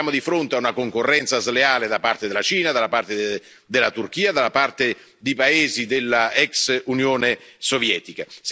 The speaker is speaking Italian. Siamo di fronte a una concorrenza sleale da parte della Cina, da parte della Turchia, da parte di paesi dell'ex Unione Sovietica.